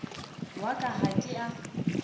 wa ka ha ke a